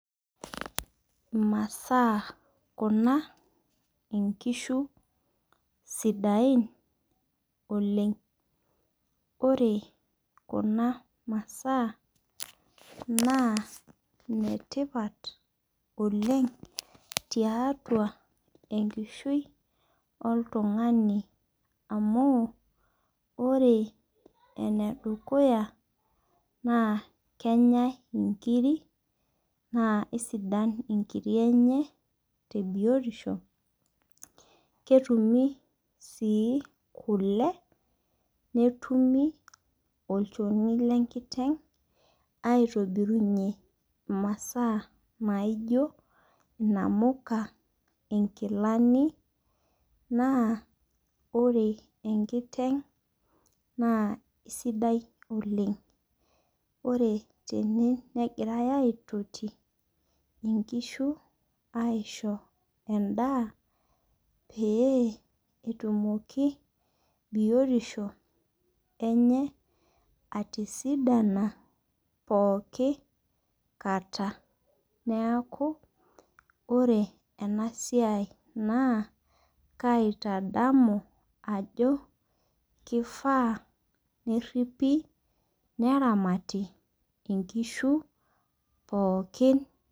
Masaa kuna, inkishu sidain oleng'. Ore kuna masaa naa ine tipat oleng' tiatua enkishui oltung'ani. Amu ore ene dukuya naa kenyai inkirik, naa sidan inkiri enye te biotisho, ketumi sii kule, netumi olchoni le enkiteng' aitobirunye imasaa naijo inamuka, inkilani. Naa ore enkiteng' naa sidai oleng' ore tene, negirai aitoti aisho endaa, pee etumoki biotisho enye atisidani pooki kata. Neaku ore ena siai naitadamu ajo keifaa neripi neramati inkishu pookin.